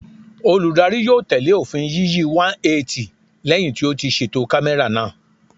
Olùdarí yóò tẹ̀lé òfin yíÌyí 180 lẹ́hìn tí ó ti ṣètò kámẹ́rà náà.